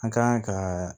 An kan ka